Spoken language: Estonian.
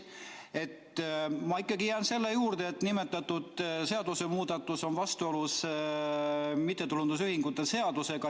Ma jään ikkagi selle juurde, et nimetatud seadusemuudatus on vastuolus mittetulundusühingute seadusega.